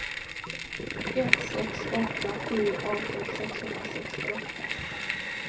ett sex åtta sju arton sexhundrasextioåtta